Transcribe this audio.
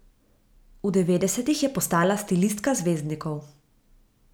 V devetdesetih je postala stilistka zvezdnikov.